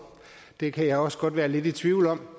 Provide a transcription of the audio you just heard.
det kan jeg også godt være lidt i tvivl om